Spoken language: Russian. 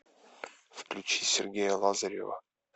включи сергея лазарева